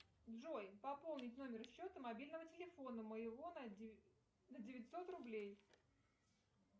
джой пополнить номер счета мобильного телефона моего на девятьсот рублей